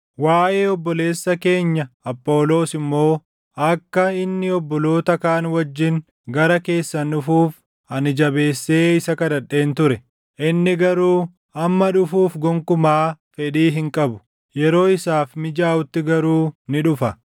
Waaʼee obboleessa keenya Apholoos immoo akka inni obboloota kaan wajjin gara keessan dhufuuf ani jabeessee isa kadhadheen ture. Inni garuu amma dhufuuf gonkumaa fedhii hin qabu; yeroo isaaf mijaaʼutti garuu ni dhufa.